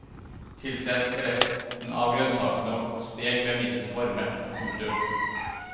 Tilsett resten av grønnsakene og stek ved middels varme. punktum